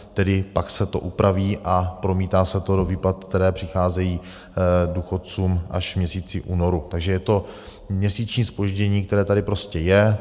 Tedy pak se to upraví a promítá se to do výplat, které přicházejí důchodcům až v měsíci únoru, takže je to měsíční zpoždění, které tady prostě je.